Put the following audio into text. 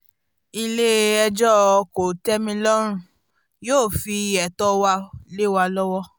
ilé-ẹjọ́ kò-tẹ̀-mí-lọ́rùn yóò fi etọ́ ò wá lẹ́wà lọ́wọ́